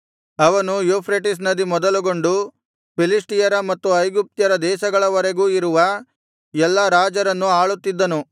ಅವನು ಯೂಫ್ರೆಟಿಸ್ ನದಿ ಮೊದಲುಗೊಂಡು ಫಿಲಿಷ್ಟಿಯರ ಮತ್ತು ಐಗುಪ್ತ್ಯರ ದೇಶಗಳವರೆಗೂ ಇರುವ ಎಲ್ಲಾ ರಾಜರನ್ನು ಆಳುತ್ತಿದ್ದನು